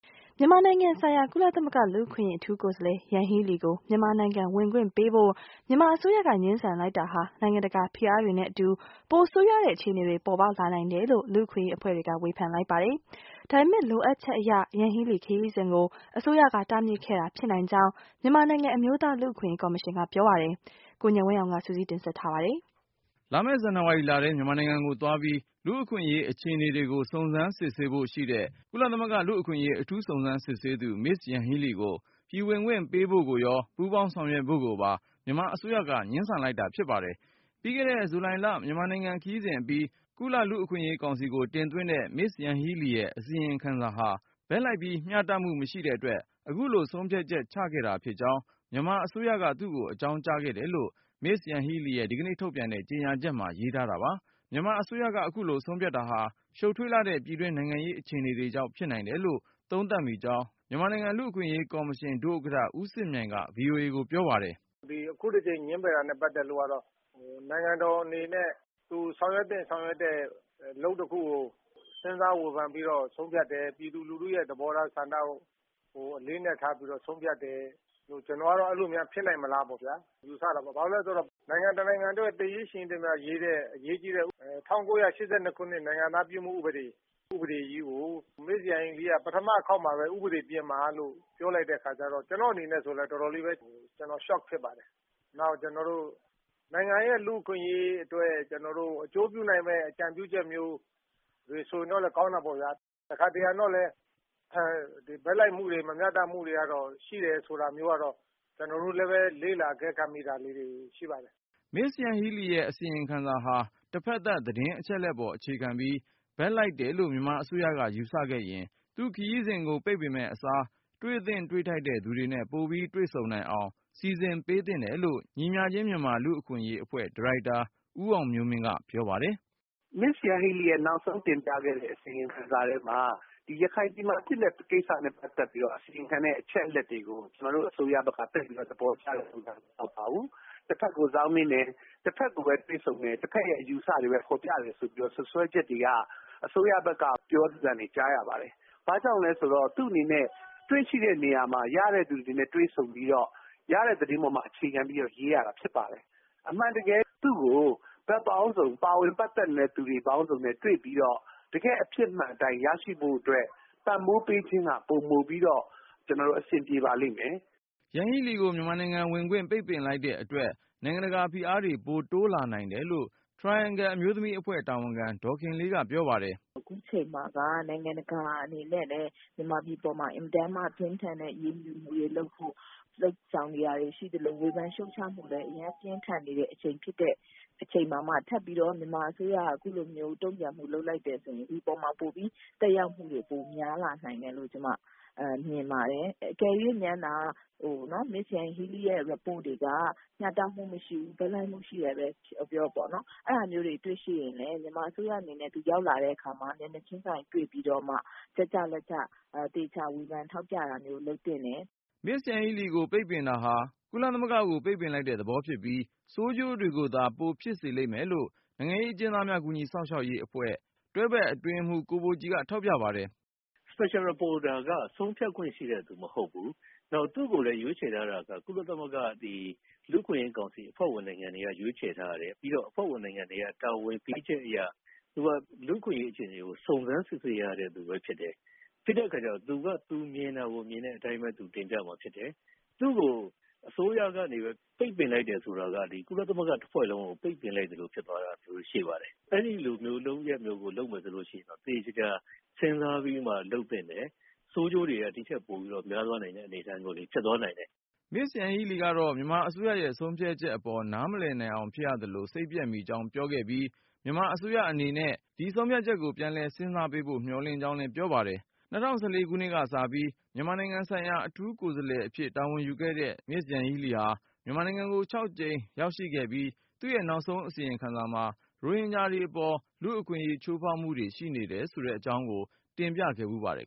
မြန်မာနိုင်ငံဆိုင်ရာ ကုလသမဂ္ဂ လူ့အခွင့်အရေးအထူးကိုယ်စားလှယ် Yanghee Lee ကို မြန်မာနိုင်ငံ ဝင်ခွင့်ပေးဖို့ မြန်မာအစိုးရက ငြင်းဆန် လိုက်တာဟာ နိုင်ငံတကာ ဖိအားတွေနဲ့အတူ ပိုဆိုးရွားတဲ့အခြေအနေတွေ ပေါ်ပေါက်လာနိုင်တယ်လို့ လူ့အခွင့်အရေးအဖွဲ့တွေက ဝေဖန်လိုက် ကြပါတယ်။ ဒါပေမဲ့ လိုအပ်ချက်အရ Yanghee Lee ခရီးစဉ်ကို အစိုးရက တားမြစ်ခဲ့တာဖြစ်နိုင်ကြောင်း မြန်မာနိုင်ငံ အမျိုးသားလူ့အခွင့်အရေး ကော်မရှင်က ပြောပါတယ်။ ကိုဉာဏ်ဝင်းအောင်က စုစည်းတင်ပြထားပါတယ်။ လာမယ့် ဇန်နဝါရီလထဲ မြန်မာနိုင်ငံကိုသွားပြီး လူ့အခွင့်အရေး အခြေအနေတွေကို စုံစမ်းစစ်ဆေးဖို့ ရှိတဲ့ ကုလသမဂ္ဂ လူ့အခွင့်အရေး အထူး စုံစမ်းစစ်ဆေးသူ Ms. Yanghee Lee ကို ပြည်ဝင်ခွင့်ပေးဖို့ကိုရော ပူးပေါင်းဆောင်ရွက်ဖို့ကိုပါ မြန်မာအစိုးရက ငြင်းဆန် လိုက်တာ ဖြစ်ပါတယ်။ ပြီးခဲ့တဲ့ ဇူလိုင်လ မြန်မာနိုင်ငံခရီးစဉ်အပြီး ကုလလူ့အခွင့်အရေး ကောင်စီကို တင်သွင်းတဲ့ Ms. Yanghee Lee ရဲ့အစီရင်ခံစာဟာ ဘက်လိုက်ပြီး မျှတမှု မရှိတဲ့အတွက် အခုလို ဆုံးဖြတ်ချက်ချခဲ့တာဖြစ်ကြောင်း မြန်မာအစိုးရက သူ့ကို အကြောင်း ကြားခဲ့တယ်လို့ Yanghee Lee ရဲ့ ဒီကနေ့ ထုတ်ပြန်တဲ့ကြေညာချက်မှာ ရေးထားတာပါ။ မြန်မာအစိုးရက အခုလို ဆုံးဖြတ်တာဟာ ရှုပ်ထွေးလှတဲ့ ပြည်တွင်းနိုင်ငံရေး အခြေအနေ တွေကြောင့် ဖြစ်နိုင်တယ်လို့ သုံးသပ်မိကြောင်း မြန်မာနိုင်ငံ လူ့အခွင့်အရေးကော်မရှင် ဒုဥက္ကဌ ဦးစစ်မြိုင်က VOA ကိုပြောပါတယ်။ “ဒီအခုတကြိမ် ငြင်းပယ်တာနဲ့ ပတ်သက်လို့ နိုင်ငံတော်အနေနဲ့ ဆောင်ရွက်သင့် ဆောင်ရွက်ထိုက်တဲ့ အလုပ်တခုကို စဉ်းစားဝေဖန်ပြီးတော့ ဆုံးဖြတ်တယ်၊ ပြည်သူလူထုရဲ့ သဘောထားဆန္ဒကို အလေးအနက်ထားပြီးတော့ ဆုံးဖြတ်တယ်၊ ကျနော်ကတော့ အဲလို များ ဖြစ်နိုင်မလားလို့ ယူဆတယ်။ ဘာဖြစ်လို့လဲဆိုတော့ နိုင်ငံတနိုင်ငံအတွက် သေရေး ရှင်ရေးတမျှအရေးကြီးတဲ့ ၁၉၈၂ ခုနှစ် နိုင်ငံသားဖြစ်မှု ဥပဒေကြီးကိုမေ့ပြီးတော့ ပထမ တခေါက်မှာပဲ ဥပဒေပြင်ပါလို့ ပြောလိုက်တဲ့အခါကျတော့ ကျနော့်အနေနဲ့လည်း တော်တော်လေး Shock ဖြစ်ပါတယ်။ နောက် နိုင်ငံရဲ့ လူ့အခွင့်အရေးအတွက် ကျနော်တို့ အကျိုးပြုနိုင်မယ့် အကြံပြုချက်မျိုးတွေ ဆိုရင်တော့ ကောင်းတာပေါ့ဗျာ။ တခါတရံတော့ လည်း ဘက်လိုက်မှုတွေ မမျှတမှုတွေကရှိတယ် ဆိုတာမျိုးကတော့ ကျနော်တို့ကလည်း လေ့လာအကဲခတ် မိတာမျိုးတွေတော့ ရှိပါတယ်။” Ms. Yanghee Lee ရဲ့အစီရင်ခံစာဟာ တဖက်သတ် သတင်းအချက်လက်ပေါ်အခြေခံပြီး ဘက်လိုက်တယ်လို့ မြန်မာအစိုးရက ယူဆခဲ့ရင် သူ့ခရီးစဉ်ကို ပိတ်ပင်မယ့်အစား တွေ့သင့် တွေ့ထိုက်သူတွေနဲ့ ပိုပြီး တွေ့ဆုံနိုင်အောင် စီစဉ်ပေးသင့်တယ်လို့ ညီမျှခြင်းမြန်မာ လူ့အခွင့်အရေး အဖွဲ့ဒါရိုက်တာ ဦးအောင်မျိုးမင်းက ပြောပါတယ်။ “Ms. Yanghee Lee ရဲ့နောက်ဆုံးတင်ပြလိုက်တဲ့ အစီရင်ခံစာထဲမှာ ဒီရခိုင်ပြည်မှာဖြစ်တဲ့ ကိစ္စနဲ့ပတ်သက်ပြီးတော့ အစီရင်ခံတဲ့ အချက်အလက်တွေကို ကျနော်တို့ အစိုးရက သိပ်ပြီးတော့ သဘောကျတဲ့ပုံ မဟုတ်ပါဘူး။ တဖက်ကို စောင်းနင်းတယ်၊ တဖက်ကိုပဲ တွေ့ဆုံမယ်၊ တဖက်ရဲ့ အယူအဆတွေကိုပဲ ဖော်ပြတယ်ဆိုပြီးတော့ စွပ်စွဲချက်တွေက အစိုးရဘက်က ပြောသံတွေ ကြားရပါတယ်။ ဘာကြောင့်လဲဆိုတော့ သူ့အနေနဲ့ ရောက်တဲ့ နေရာမှာ ရတဲ့လူတွေနဲ့ တွေ့ဆုံပြီးတော့ ရတဲ့သတင်းအပေါ်မှာ အခြေခံပြီးတော့ ရေးရတာ ဖြစ်ပါတယ်။ အမှန်တကယ် သူ့ကို ဘက်ပေါင်းစုံ ပါဝင်ပတ်သက်နေတဲ့ သူတွေပေါင်းစုံနဲ့ တွေ့ပြီးတော့ တကယ့် အဖြစ်မှန်အတိုင်း ရရှိဖို့အတွက် ပံ့ပိုးပေးခြင်းက ပိုပြီးတော့ အဆင်ပြေပါလိမ့်မယ်။” Yanghee Lee ကို မြန်မာနိုင်ငံဝင်ခွင့် ပိတ်ပင်လိုက်တဲ့အတွက် နိုင်ငံတကာ ဖိအားတွေ ပိုတိုးလာနိုင်တယ်လို့ Triangle အမျိုးသမီးအဖွဲ့ တာဝန်ခံ ဒေါ်ခင်လေးက ပြောပါတယ်။ “အခုအချိန်မှာက နိုင်ငံတကာ အနေနဲ့လည်း မြန်မာပြည်ပေါ်မှာ အင်မတန်မှ ပြင်းထန်တဲ့ အရေးယူမှုတွေ လုပ်ဆောင်နေတာတွေ ရှိသလို၊ ဝေဖန်ရှုတ်ချမှုတွေ အရမ်းပြင်းထန်နေတဲ့ အချိန် ဖြစ်တဲ့အတွက် အချိန်မှာမှ ထပ်ပြီးတော့ မြန်မာအစိုးရက အခုလိုမျိုး တုံ့ပြန်မှု လုပ် လိုက်တဲ့ အခါကျတော့ ဒီပေါ်မှာ သက်ရောက်မှုတွေ ပိုများလာနိုင်တယ်လို့ ကျမမြင်ပါ တယ်။ အကယ်၍များသာ Ms. Yanghee Lee ရဲ့အစီရင်ခံစာ တွေက မျှတမှုမရှိဘူး၊ ဘက်လိုက်မှု ရှိခဲ့တယ်ဆိုရင်လည်း မြန်မာအစိုးရအနေနဲ့ သူရောက်လာတဲ့အခါမှာ မျက်နှာချင်းဆိုင် တွေ့ပြီးတော့မှ ချက်ကျလက်ကျ သေချာဝေဖန်ထောက်ပြတာမျိုး လုပ်သင့်တယ်။” Ms. Yanghee Lee ကို ပိတ်ပင်တာဟာ ကုလသမဂ္ဂကို ပိတ်ပင်လိုက်တဲ့သဘော ဖြစ်ပြီး၊ ဆိုးကျိုးတွေကိုသာ ပိုဖြစ်စေလိမ့်မယ်လို့ နိုင်ငံရေး အကျဉ်းသားများ ကူညီစောင့်ရှောက်ရေး အဖွဲ့ AAPPB တွဲဘက်အတွင်းရေးမှူး ကိုဘိုကြည်က ထောက်ပြပါတယ်။ “ UN Special Rapporteur က ဆုံးဖြတ်ခွင့် ရှိတဲ့သူ မဟုတ်ဘူး။ နောက် သူ့ကို ရွေးချယ် ထားတာက ကုလသမဂ္ဂ လူ့အခွင့်အရေးကောင်စီ အဖွဲ့ဝင်နိုင်ငံတွေက ရွေးချယ်ထားတာ ဖြစ်တယ်။ အဲဒီအဖွဲ့ဝင်နိုင်ငံတွေရဲ့ တာဝန်ပေးချက်အရ သူက လူ့အခွင့်အရေး အခြေအနေ ကို စုံစမ်း စစ်ဆေးရတဲ့သူပဲ ဖြစ်တယ်။ ပြီးတော့ သူမြင်တာကို မြင်တဲ့အတိုင်းပဲ တင်ပြမှာ ဖြစ်ပါတယ်။ သူ့ကို အစိုးရကနေ ပိတ်ပင်လိုက်တယ် ဆိုတာက ဒီကုလသမဂ္ဂ တဖွဲ့လုံးကို ပိတ်ပင်လိုက်သလို ဖြစ်သွားတာမျိုးတွေ ရှိပါတယ်။ အဲလိုလုပ်ရပ်မျိုးကို လုပ်မယ်ဆိုရင် တော့ သေချာစဉ်းစားပြီးမှ လုပ်သင့်တယ်။ ဆိုးကျိုးတွေက ဒီထက်ပိုပြီး များသွားနိုင်တဲ့ အနေအထားမျိုးတွေ ဖြစ်သွားနိုင်တယ်။” Ms. Yanghee Lee ကတော့ မြန်မာအစိုးရရဲ့ ဆုံးဖြတ်ချက်အပေါ် နားမလည်နိုင်အောင် ဖြစ်ရသလို စိတ်ပျက်မိကြောင်း ပြောဆိုခဲ့ပြီးု၊ မြန်မာအစိုးရ အနေနဲ့ ဒီဆုံးဖြတ်ချက်ကို ပြန်လည် စဉ်းစားပေးဖို့ မျှော်လင့်ကြောင်းလဲ ပြောပါတယ်။ ၂၀၁၄ ခုနှစ်က စပြီး မြန်မာနိုင်ငံဆိုင်ရာ အထူးကိုယ်စားလှယ်အဖြစ် တာဝန်ယူခဲ့တဲ့ Yanghee Lee ဟာ မြန်မာနိုင်ငံကို ၆ ကြိမ် ရောက်ရှိခဲ့ပြီး သူ့ရဲ့ နောက်ဆုံး အစီရင်ခံစာမှာ ရိုဟင်ဂျာတွေအပေါ် လူ့အခွင့်အရေး ချိုးဖောက်မှုတွေ ရှိနေတယ်ဆိုတဲ့ အကြောင်းကို တင်ပြခဲ့ဖူးပါတယ်